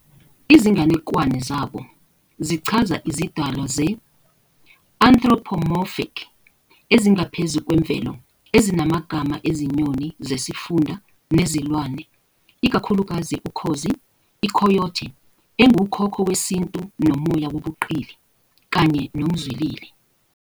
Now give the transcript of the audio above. Izinganekwane zabo zichaza izidalwa ze-anthropomorphic ezingaphezu kwemvelo ezinamagama ezinyoni zesifunda nezilwane, ikakhulukazi ukhozi, iCoyote engukhokho wesintu nomoya wobuqili, kanye nomzwilili.